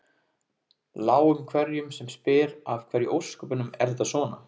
Láum hverjum sem spyr af hverju í ósköpunum er þetta svona?